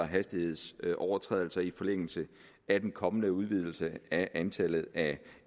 hastighedsovertrædelser i forlængelse af den kommende udvidelse af antallet af